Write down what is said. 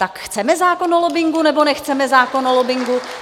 Tak chceme zákon o lobbingu, nebo nechceme zákon o lobbingu?